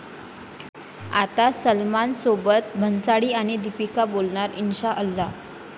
आता सलमानसोबत भन्साळी आणि दीपिका बोलणार 'इन्शाअल्लाह'